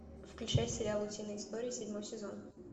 включай сериал утиные истории седьмой сезон